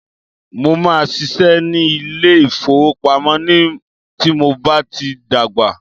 Mó máà ṣiṣẹ́ ní ilé ìfọwọ́pamo tí mo bá tí dàgbà.